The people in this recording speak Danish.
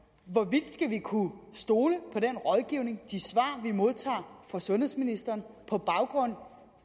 men kunne stole på den rådgivning de svar vi modtager fra sundhedsministeren på baggrund